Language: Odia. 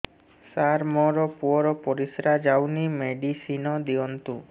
ସାର ମୋର ପୁଅର ପରିସ୍ରା ଯାଉନି ମେଡିସିନ ଦିଅନ୍ତୁ